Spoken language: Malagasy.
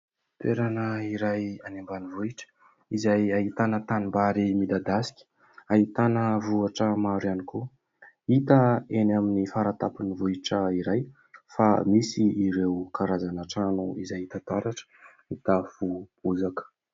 Toerana iray any ambanivohitra izay ahitana tanimbary midadasika, ahitana vohatra maro ihany koa. hita eny amin'ny faratapon'ny vohitra iray fa misy ireo karazana trano izay hita taratra mitafo bozaka.